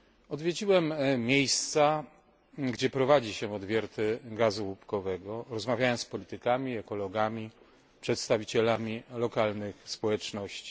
Odwiedziłem miejsca, gdzie prowadzi się odwierty gazu łupkowego, rozmawiałem z politykami, ekologami, przedstawicielami lokalnych społeczności.